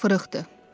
"İşlər fırıxdı".